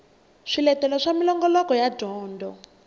swiletelo swa minongoloko ya dyondzo